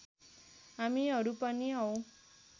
हामीहरू पनि हौं